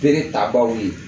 Bere tabaaw ye